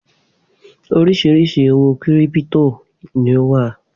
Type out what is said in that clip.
Oríṣiríṣi owó kírípító ni ó wà.